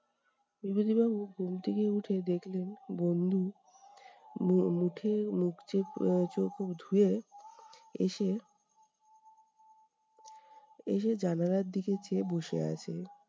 বিভূতিবাবু ঘুম থেকে উঠে দেখলেন বন্ধু মু মুঠে উঠে মুখ চোখ উহ চোখ ধুয়ে এসে, এসে জানালার দিকে চেয়ে বসে আছে।